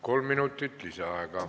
Kolm minutit lisaaega.